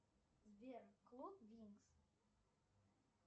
сбер клуб винкс